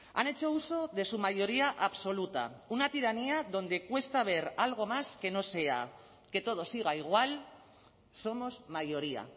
han hecho uso de su mayoría absoluta una tiranía donde cuesta ver algo más que no sea que todo siga igual somos mayoría